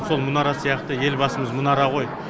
сол мұнара сияқты елбасымыз мұнара ғой